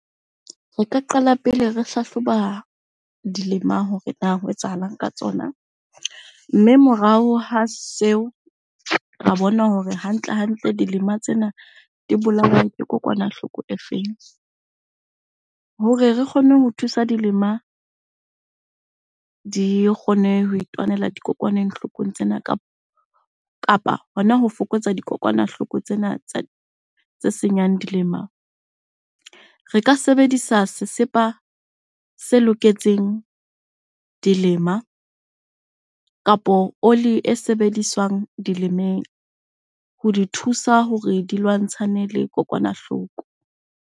Re ka qala pele re hlahloba dilema hore na ho etsahalang ka tsona? Mme morao ha seo, ra bona hore hantle-hantle dilema tsena di bolauwe ke kokwanahloko e feng? Hore re kgone ho thusa dilema di kgone ho itwanela dikokwanenghloko tsena kapa hona ho fokotsa dikokwanahloko tsena tse senyang dilema. Re ka sebedisa sesepa se loketseng dilema kapo oli e sebediswang dilemeng, ho di thusa hore di lwantshane le kokwanahloko.